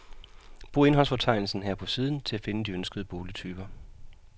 Brug indholdsfortegnelsen her på siden til at finde de ønskede boligtyper.